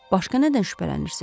Başqa nədən şübhələnirsiz?